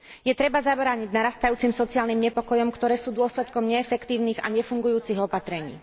Je treba zabrániť narastajúcim sociálnym nepokojom, ktoré sú dôsledkom neefektívnych a nefungujúcich opatrení.